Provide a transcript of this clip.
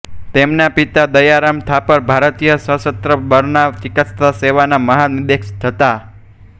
તેમના પિતા દયારામ થાપર ભારતીય સશસ્ત્ર બળમાં ચિકિત્સા સેવાના મહાનિદેશક હતા